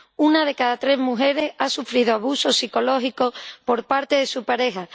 una de cada tres mujeres ha sufrido abuso psicológico por parte de su pareja